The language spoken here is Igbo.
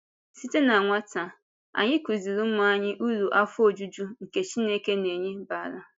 Site na nwata, anyị kụzìrì ụmụ anyị uru afọ ojuju nke Chineke na-enye bara.